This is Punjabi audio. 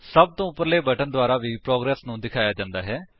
ਸਭ ਤੋਂ ਉਪਰਲੇ ਬਟਨ ਦੇ ਦੁਆਰਾ ਵੀ ਪ੍ਰੋਗਰੇਸ ਤਰੱਕੀ ਨੂੰ ਦਿਖਾਇਆ ਜਾਂਦਾ ਹੈ